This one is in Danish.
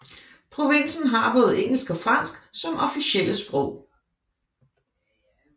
Provinsen har både engelsk og fransk som officielle sprog